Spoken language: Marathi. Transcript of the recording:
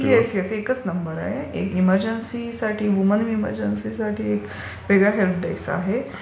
Yes, yes. एकच नंबर आहे. एक एमरजनसीसाठी - वुमन एमरजनसीसाठी वेगळा हेल्प डेस्क आहे.